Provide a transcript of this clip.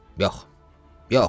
Yox, yox, yox.